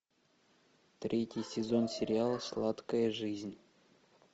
третий сезон сериала сладкая жизнь